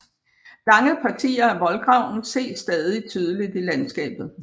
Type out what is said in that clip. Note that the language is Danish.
Lange partier af voldgraven ses stadig tydeligt i landskabet